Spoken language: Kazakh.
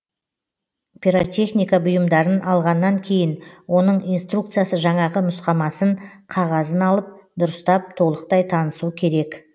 пиротехника бұйымдарын алғаннан кейін оның инструкциясы жаңағы нұсқамасын қағазын алып дұрыстап толықтай танысу керек